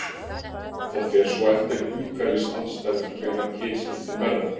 það fer svo eftir umhverfisaðstæðum hvenær kynskiptin verða